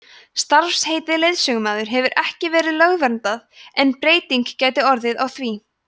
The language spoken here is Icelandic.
starfsheitið leiðsögumaður hefur ekki verið lögverndað en breyting gæti orðið á því